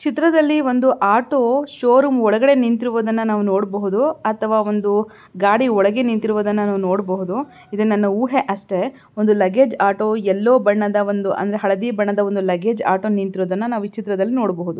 ಚಿತ್ರದಲ್ಲಿ ಒಂದು auto showroom ಒಳಗಡೆ ನಿಂತಿರುವುದನ್ನುನಾವು ನೋಡಬಹುದು ಅಥವಾ ಒಂದು ಗಾಡಿ ಒಳಗೆ ನಿಂತಿರುವುದನ್ನ ನಾವು ನೋಡಬಹುದು ಇದು ನನ್ನ ಹೂವೆ ಅಷ್ಟೇ ಒಂದು ಲಗೇಜ್ ಆಟೋ ಎಲ್ಲೋ ಬಣ್ಣದ ಒಂದು ಅಂದ್ರೆ ಹಳದಿ ಬಣ್ಣದ ಒಂದು ಲಗೇಜ್ ಆಟೋ ನಿಂತಿರುವುದನ್ನ ನಾವು ಈ ಚಿತ್ರದಲ್ಲಿ ನೋಡಬಹುದು.